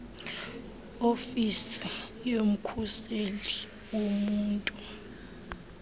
ofisi yomkhuseli woluntu